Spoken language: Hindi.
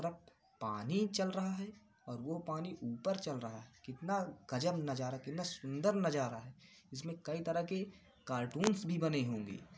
रप पानी चल रहा है और वो पानी ऊपर चल रहा है। कितना गजब नजारा कितना सुंदर नजारा है। इसमें कई तरह के कार्टूंस भी बने होंगे।